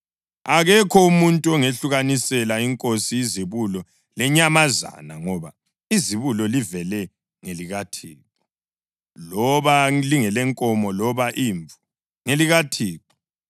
Akekho umuntu ongehlukanisela iNkosi izibulo lenyamazana, ngoba izibulo livele ngelikaThixo; loba lingelenkomo, loba imvu, ngelikaThixo.